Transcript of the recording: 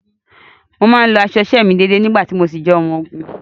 Mo máa ń lọ aṣọ iṣẹ́ mi déedée nígbà tí mo ṣì jẹ́ ọmọ ogun.